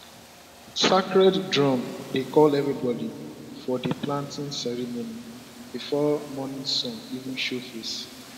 sacred drum dey call everybody for di planting ceremony before morning sun even show face